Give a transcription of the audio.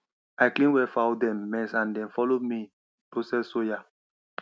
i clean where fowl dem mess and dem follow help me process soya